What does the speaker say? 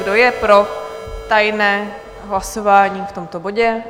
Kdo je pro tajné hlasování v tomto bodu?